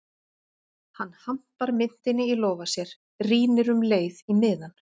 Hann hampar myntinni í lófa sér, rýnir um leið í miðann